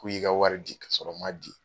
K'u yi ka wari di ka sɔrɔ o ma di.